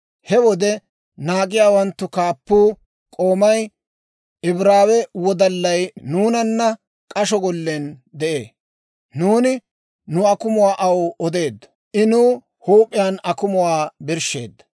He wode naagiyaawanttu kaappuu, k'oomay, Ibraawe wodallay nuunana k'asho gollen de'ee. Nuuni nu akumuwaa aw odeeddo; I nuw huup'iyaan huup'iyaan akumuwaa birshsheedda.